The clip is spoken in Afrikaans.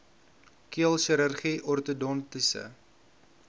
keel chirurgie ortodontiese